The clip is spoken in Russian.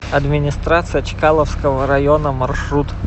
администрация чкаловского района маршрут